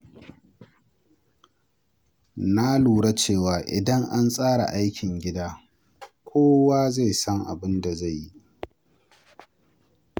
Na lura cewa idan an tsara aikin gida, kowa zai san abin da zai yi.